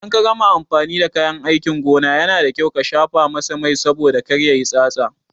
Idan ka gama amfani da kayan aikin gona, Yana da kyau ka shafa masa Mai saboda kar yayi tsatsa.